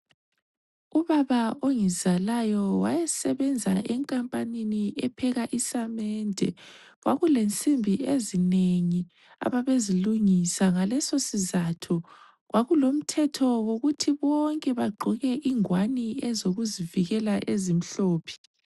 Ubaba ongizalayo waysebenza enkampanini epheka isamende, kwakulensimbi ezinengi ababezilungisa ngaleso sizatho kwakulomthetho wokuthi bonke bagqoke ingowane ezokuzivikela ezimhlophe.